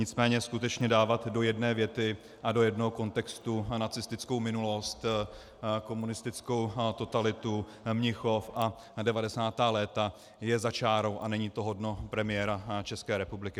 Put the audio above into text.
Nicméně skutečně dávat do jedné věty a do jednoho kontextu nacistickou minulost, komunistickou totalitu, Mnichov a 90. léta je za čárou a není to hodno premiéra České republiky.